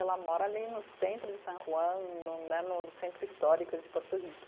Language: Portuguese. Ela mora ali no centro de San Juan, no né no centro histórico de Porto Rico.